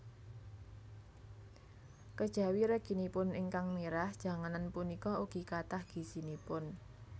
Kejawi reginipun ingkang mirah janganan punika ugi kathah gizinipun